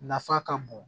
Nafa ka bon